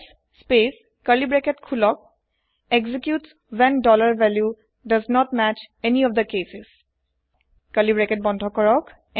else space curly bracket খোলকexecutes when value does not match any of the cases curly bracket বন্ধ কৰক